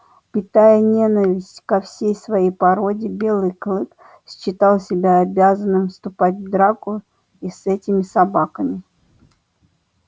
питая ненависть ко всей своей породе белый клык считал себя обязанным вступать в драку и с этими собаками